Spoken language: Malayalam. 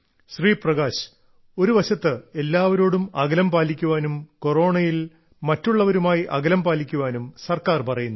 ശ്രീ പ്രകാശ് ഒരുവശത്ത് എല്ലാവരോടും അകലം പാലിക്കാനും കൊറോണയിൽ മറ്റുള്ളവരുമായി അകലം പാലിക്കാനും സർക്കാർ പറയുന്നു